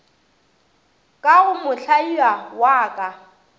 ka go mohlaia wa ka